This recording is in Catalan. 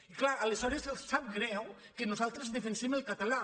i clar aleshores els sap greu que nosaltres defensem el català